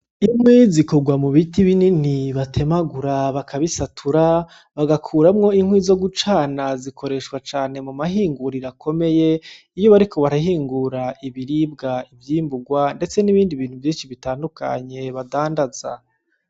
Inkwi zikorwa mu biti binini batemagura bakabisatura bagakuramwo inkwi zo gucana zikoreshwa cane mu mahinguriro akomeye iyo bariko barahingura ibiribwa ivyimburwa ndetse nibindi vyinshi bitandukanye badandaza